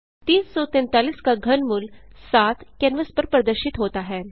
343 का घनमूल 7 कैनवास पर प्रदर्शित होता है